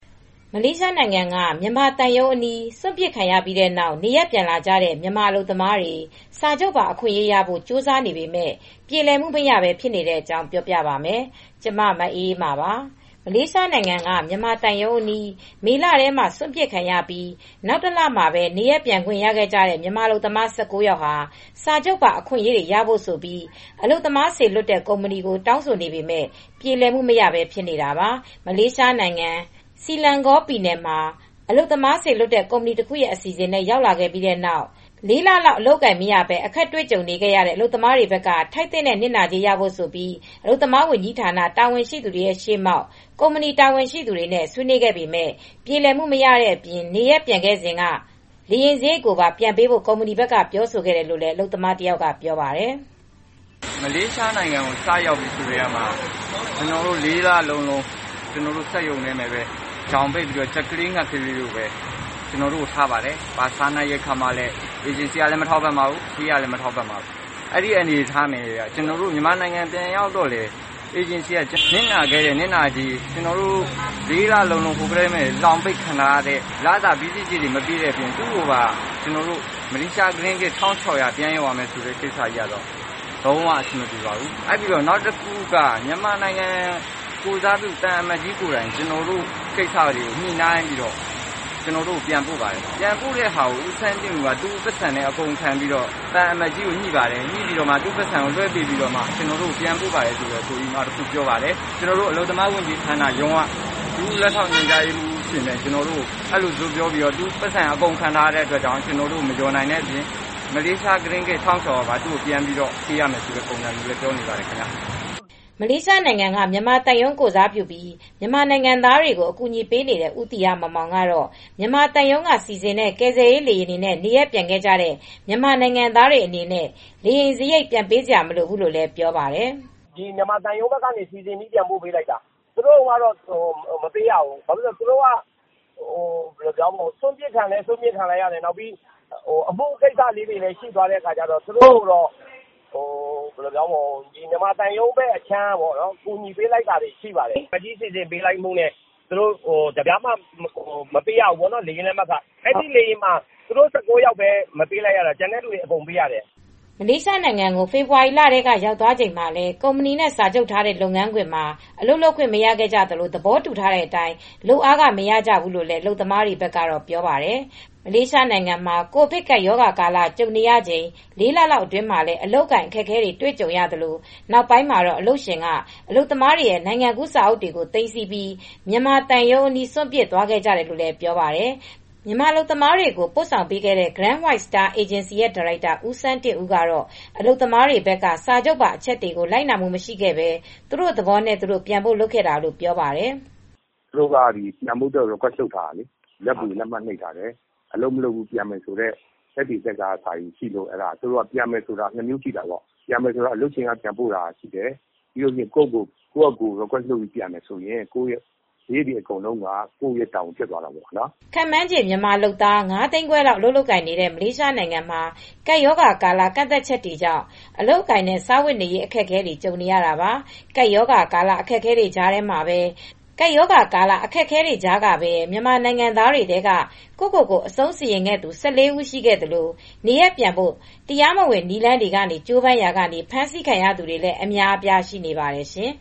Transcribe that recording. မလေးရှားနိုင်ငံက မြန်မာသံရုံးအနီး စွန့်ပစ်ခံခဲ့ရပြီးနောက် နေရပ်ပြန်လာကြတဲ့ မြန်မာအလုပ်သမားတွေ စာချုပ်ပါ အခွင့်အရေးရဖို့ ကြိုးစားနေပေမဲ့ ပြေလည်မှုမရဘဲ ဖြစ်နေတဲ့အကြောင်း ဗွီအိုအေမြန်မာပိုင်းသတင်းထောက် မအေးအေးမာက ပြောပြပါမယ်။ မလေးရှားနိုင်ငံက မြန်မာသံရုံးအနီး မေလထဲမှာ စွန့်ပစ်ခံခဲ့ရပြီး နောက်တလမှာပဲ နေရပ်ပြန်ခွင့်ရခဲ့ကြတဲ့ မြန်မာအလုပ်သမား ၁၉ ယောက်ဟာ စာချုပ်ပါအခွင့်အရေးတွေ ရဖို့ဆိုပြီး အလုပ်သမားစေလွှတ်တဲ့ ကုမ္ပဏီကို တောင်းဆိုနေပေမဲ့ ပြေလည်မှု မရဘဲ ဖြစ်နေတာပါ။ မလေးရှားနိုင်ငံ Selangor ပြည်နယ်မှာ အလုပ်သမားစေလွှတ်တဲ့ ကုမ္ပဏီတခုရဲ့ အစီအစဉ်နဲ့ ရောက်လာခဲ့ပြီးနောက် ၄ လလောက် အလုပ်အကိုင်မရပဲ အခက်အခဲတွေနဲ့ ကြုံခဲ့ရတဲ့ အလုပ်သမားတွေဘက်က ထိုက်သင့်တဲ့ နစ်နာကြေးရဖို့ဆိုပြီး အလုပ်သမားဝန်ကြီးဌာန တာဝန်ရှိသူတွေရှေ့မှောက် ကုမ္ပဏီတာဝန်ရှိသူတွေနဲ့ ဆွေးနွေးခဲ့ပေမဲ့ ပြေလည်မှုမရတဲ့အပြင် နေရပ်ပြန်ခဲ့စဉ်က လေယာဉ်စရိတ်ကိုပါ ပြန်ပေးဖို့ ကုမ္ပဏီဘက် ပြောဆိုခဲ့တယ်လို့လည်း အလုပ်သမားတယောက်က ပြောပါတယ်။ "မလေးရှားနိုင်ငံကို စရောက်ပြီးကတည်းက ကျနော်တို့ ၄ လလုံး စက်ရုံမှာ ကြက်ကလေး ငှက်ကလေးလိုထားပါတယ်။ စားနပ်ရိက္ခာကို သူဌေးကလည်း မပေးပါဘူး။ အေဂျင်စီကလည်းမပေးပါဘူး။ ကျနော်တို့ မြန်မာပြည်ကို ပြန်ရောက်တော့လည်း ကျနော်တို့ ၄လတာ လှောင်ပိတ်ခံထားရတဲ့ လစာနစ်နာကြေး မပေးဘဲ သူ့ကို မလေးရှားရစ်းဂစ် ၁၆၀၀ ပြန်ပေးရမယ်ဆိုတာ အဆင်မပြေပါဘူး။ နောက်တခုက မြန်မာနိုင်ငံကိုယ်စားပြုသံအမတ်ကြီးကိုယ်တိုင် ကျနော်တို့ကိစ္စတွေကို ညှိနှိုင်းပြီး ကျနော်တို့ကို ပြန်ပို့ပါတယ်။ အေဂျင်စီက ဦးစန်းတင့်ဦးကတော့ သံအမတ်ကြီးကို သူ့ပိုက်ဆံပိုပြီးညှိနှိုင်းပြီး ပြန်ပို့ပေးတာလို့ ပြောပါတယ် ကျနော်တို့ အလုပ်သမားဝန်ကြီးဌာန ဒုလက်ထောက်ညွှန်ကြားရေးမှူးတွေ ရှေ့မှာ သူ့ ပိုက်ဆံ အကုန်ခံထားရတဲ့အတွက် ကျနော်တို့ကို မလျော်နိုင်တဲ့အပြင် ကျနော်တို့က သူကို မလေးရှားရင်းဂစ် ၁,၆၀၀ တောင်ပြန်ပေးရမယ်ပြောပါတယ်။" မလေးရှားနိုင်ငံက မြန်မာသံရုံး ကိုယ်စားပြုပြီး မြန်မာနိုင်ငံသားတွေကို အကူအညီပေးနေတဲ့ ဦးသီဟမောင်မောင်ကတော့ မြန်မာသံရုံးကစီစဉ်တဲ့ ကယ်ဆယ်ရေးလေယာဉ်တွေနဲ့ နေရပ်ပြန်ခဲ့ကြတဲ့ ၁၉ ယောက်က လေယာဉ်လက်မှတ်ခကျခံပြီး ပြန်သွားတာမဟုတ်ပါဘူးလို့ ပြောပါတယ်။ "မြန်မာသံရုံးဘက်ကနေ စီစဉ်ပြီးပြန်ပို့ပေးလိုက်တာ၊ သူတို့တုန်းက ငွေမပေးရဘူး၊ သူတို့က စွန့်ပစ်လည်း ခံရတယ်။ အမှုလည်း ရှိနေတော့ မြန်မာသံရုံးက ကူညီပေးလိုက်တာပါ။ သံအမတ်ကြီးစီစဉ်ပေးလိုက်မှုနဲ့ သူတို့ တပြားမှ မပေးရဘူးပေါ့နော်။ အဲဒီလေယာဉ်မှာ သူတို့ ၁၉ ယောက်ပဲ မပေးရတာ၊ ကျန်တဲ့သူတွေကတော့ အကုန်ပေးရပါတယ်။" မလေးရှားနိုင်ငံကို ဖေဖော်ဝါရီလက ရောက်သွားချိန်မှာလည်း ကုမ္ပဏီနဲ့ စာချုပ်ထားတဲ့ လုပ်ငန်းခွင်မှာ အလုပ်လုပ်ခွင့် မရခဲ့ကြသလို၊ သဘောတူထားတဲ့အတိုင်း လုပ်အားခမရခဲ့ဘူးလို့လည်း အလုပ်သမားတွေက ပြောပါတယ်။ မလေးရှားနိုင်ငံမှာ ကိုဗစ်ကပ်ရောဂါကာလ ကြုံနေရချိန် ၄ လလောက် အတွင်းမှာလည်း အလုပ်အကိုင် အခက်အခဲတွေ ကြုံခဲ့ရသလို နောက်ပိုင်းမှာတော့ အလုပ်ရှင်က အလုပ်သမားတွေရဲ့ နိုင်ငံကူးစာအုပ်တွေကို သိမ်းဆည်းပြီး မြန်မာသံရုံးအနီး စွန့်ပစ်သွားခဲ့တယ်လို့လည်း ပြောပါတယ်။ မြန်မာအလုပ်သမားတွေကို ပို့ဆောင်ပေးခဲ့တဲ့ Grand White Star အလုပ်သမား အေဂျင်စီဒါရိုက်တာ ဦးစန်းတင့်ဦး ကတော့ အလုပ်သမားတွေဘက်က စာချုပ်ပါ အချက်တွေကို လိုက်နာမှုမရှိခဲ့ပဲ သူတို့သဘောနဲ့ ပြန်ဖို့လုပ်တာလို့ ပြောပါတယ်။ "သူတို့ကပြန်ဖို့ကို Request လုပ်ထားတာလေ လက်ဗွေ လက်မှတ် လုပ်ထားတာလေ ပြန်မယ်ဆိုရင်အလုပ်ရှင်က ပြန်ပို့တာ ရှိတယ်။ ကိုယ့်ဖာသာပြန်မယ်ဆိုရင်စရိတ်တွေ အကုန်လုံးက ကိုယ့်ရဲ့ တာဝန်ဖြစ်သွားတာပေါ့ဗျာ။" ခန့်မှန်းခြေ မြန်မာနိုင်ငံသား ၅၅၀,၀၀၀ လောက် အလုပ်လုပ်ကိုင်နေတဲ့ မလေးရှားနိုင်ငံမှာ ကပ်ရောဂါကာလ ကန့်သတ်ချက်တွေကြောင့် အလုပ်အကိုင်နဲ့ စားဝတ်နေရေး အခက်အခဲတွေ ကြုံနေရတာပါ။ ကပ်ရောဂါကာလ အခက်အခဲတွေကြားမှာပဲ မြန်မာနိုင်ငံသားတွေထဲက ကိုယ့်ကိုယ်ကို အဆုံးစီရင်ခဲ့သူ ၁၄ ဦး ရှိခဲ့သလို၊ နေရပ်ပြန်ဖို့ တရားမဝင် နည်းလမ်းတွေက ကြိုးပမ်းရာက ဖမ်းဆီးခံရသူတွေလည်း အများအပြား ရှိနေပါတယ်ရှင်